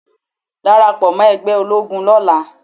Darapọ̀ mọ́ ẹgbẹ́ ológun lọ́la.